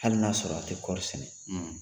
Hali na sɔrɔ a tɛ kɔri sɛnɛ